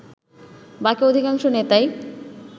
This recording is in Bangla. বাকি অধিকাংশ নেতাই